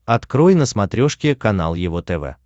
открой на смотрешке канал его тв